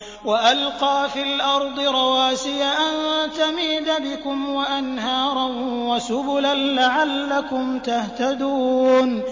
وَأَلْقَىٰ فِي الْأَرْضِ رَوَاسِيَ أَن تَمِيدَ بِكُمْ وَأَنْهَارًا وَسُبُلًا لَّعَلَّكُمْ تَهْتَدُونَ